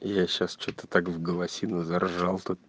я сейчас что-то так в голосину заржал тут